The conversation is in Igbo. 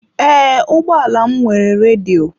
Ee, ụgbọ ala m nwere redio.